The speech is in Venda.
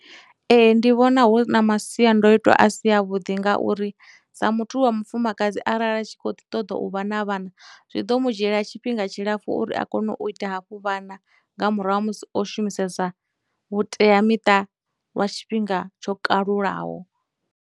Ee, ndi vhona hu na masiandoitwa a si a vhuḓi ngauri sa muthu wa mufumakadzi arali a tshi khou ḓi ṱoḓa u vha na vhana zwi ḓo mu dzhiela tshifhinga tshilapfhu uri a kone u ita hafhu vhana nga murahu ha musi o shumisesa vhuteamiṱa lwa tshifhinga tsho kalulaho.